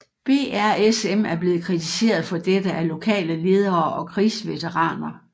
BRSM er blevet kritiseret for dette af lokale ledere og krigsveteraner